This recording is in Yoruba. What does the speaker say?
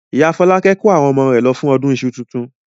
Ìyá Fọlákẹ́ kó àwọn ọmọ rẹ̀ lọ fún ọdún iṣu tuntun.